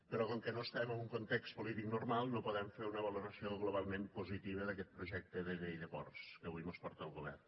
però com que no estem en un context polític normal no podem fer una valoració globalment positiva d’aquest projecte de llei de ports que avui mos porta el govern